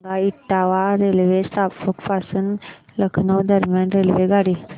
सांगा इटावा रेल्वे स्थानक पासून लखनौ दरम्यान रेल्वेगाडी